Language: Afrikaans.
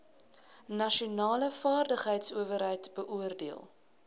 nasionale vaardigheidsowerheid beoordeel